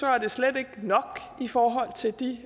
er det slet ikke nok i forhold til de